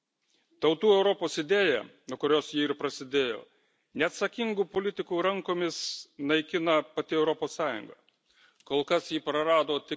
Pone Premjere, Tautų Europos idėją, nuo kurios ji ir prasidėjo, neatsakingų politikų rankomis naikina pati Europos Sąjunga.